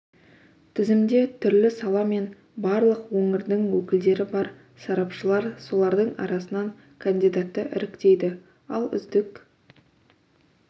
тізімде түрлі сала мен барлық өңірдің өкілдері бар сарапшылар солардың арасынан кандидатты іріктейді ал үздік